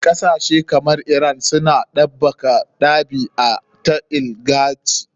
Kasashe kamar iran suna ɗabaka ɗabi a ta oligarchy.